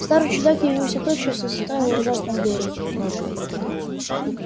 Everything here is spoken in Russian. старый чудак явился тотчас и застал в ужасном горе